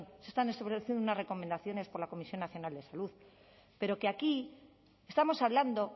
se están estableciendo unas recomendaciones por la comisión nacional de salud pero que aquí estamos hablando